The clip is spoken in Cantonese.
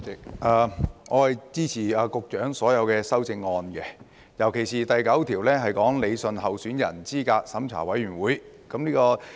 代理主席，我支持局長的所有修正案，尤其是第9組關於理順候選人資格審查委員會。